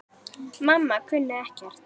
Mamma kunni ekkert.